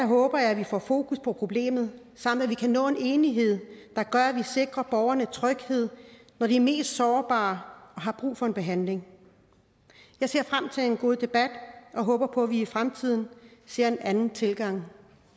håber jeg vi får fokus på problemet og at vi kan nå enighed der gør at vi sikrer borgerne tryghed når de er mest sårbare og har brug for en behandling jeg ser frem til en god debat og håber på at vi i fremtiden ser en anden tilgang